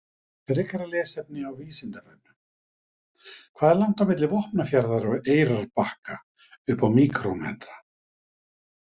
Frekara lesefni á Vísindavefnum: Hvað er langt milli Vopnafjarðar og Eyrarbakka upp á míkrómetra?